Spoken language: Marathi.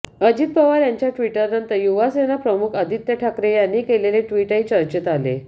अजित पवार यांच्या ट्विटनंतर युवासेना प्रमुख आदित्य ठाकरे यांनी केलेले ट्विटही चर्चेत आले